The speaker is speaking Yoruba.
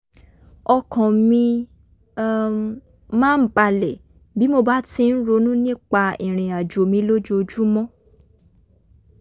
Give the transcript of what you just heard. ọkàn mi um máa ń bàlẹ̀ bí mo bá ti ń ronú nípa ìrìn àjò mi lójoojúmọ́